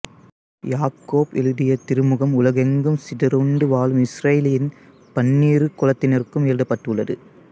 யாக்கோபு எழுதிய திருமுகம் உலகெங்கும் சிதறுண்டு வாழும் இஸ்ரயேலின் பன்னிரு குலத்தினருக்கும் எழுதப்பட்டுள்ளது